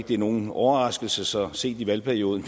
det er nogen overraskelse så sent i valgperioden